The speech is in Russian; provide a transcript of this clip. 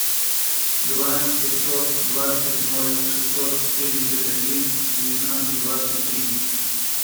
два пятьсот двадцать ноль шестьсот семьдесят один девятнадцать двадцать три